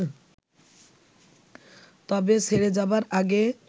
তবে ছেড়ে যাবার আগে